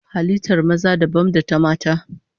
Halittar maza dabam da ta mata